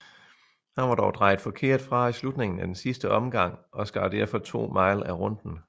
Han var dog drejet forkert fra i slutningen af den sidste omgang og skar derfor 2 mile af runden